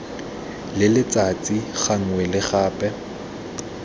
le letsatsi gangwe le gape